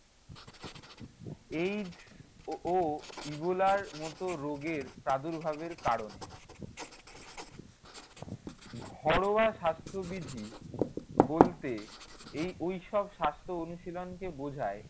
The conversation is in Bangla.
AIDS ও ইবোলার মতো রোগের প্রাদুর্ভাবের কারণ। ঘরোয়া স্বাস্থ্যবিধি বলতে এই~ ঐসব স্বাস্থ্য অনুশীলনকে বোঝায়